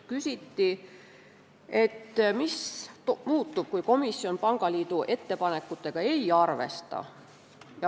Küsiti, mis muutub, kui komisjon pangaliidu ettepanekut ei arvesta.